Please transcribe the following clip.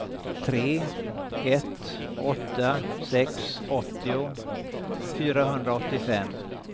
tre ett åtta sex åttio fyrahundraåttiofem